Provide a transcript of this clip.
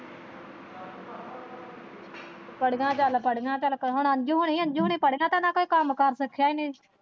ਪੜੀਆਂ ਚੱਲ ਪੜੀਆਂ ਚੱਲ ਹੁਣ ਅੰਜੂ ਹੁਣੀ ਪੜੀਆਂ ਤੇ ਨਾ ਕੋਈ ਕੰਮ ਕਾਰ ਸਿੱਖਿਆ ਹੀ ਨਹੀਂ।